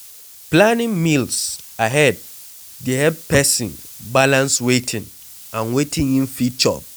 planning meals ahead dey help person balance wetin and wetin im fit chop